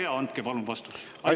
Olge hea, andke palun vastus!